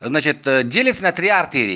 значит делиться на три артерии